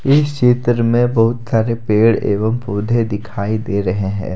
इस चित्र में बहुत सारे पेड़ एवं पौध दिखाई दे रहे है।